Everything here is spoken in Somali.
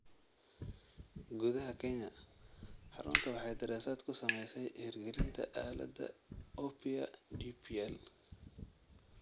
Gudaha Kenya, xarunta waxay daraasad ku samaysay hirgelinta aaladda Oppia DPL.